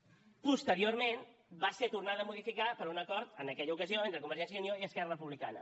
posteriorment va ser tornada a modificar per un acord en aquella ocasió entre convergència i unió i esquerra republicana